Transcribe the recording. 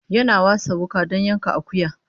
Yana wasa wuka don yanka akuya